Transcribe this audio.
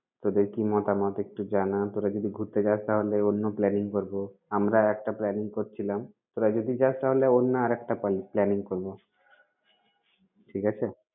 তোদের কি মতামত একটু জানা। তোরা যদি ঘুরতে যাস তাহলে অন্য planning করব। আমরা একটা planning করছিলাম, তোরা যদি যাস তাহলে অন্য আরেকটা planning করব। ঠিক আছে?